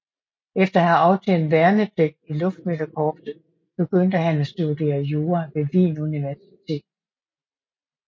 Efter at have aftjent værnepligt i luftmeldekorpset begyndte han at studere jura ved Wien Universitet